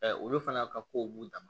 olu fana ka kow b'u dan ma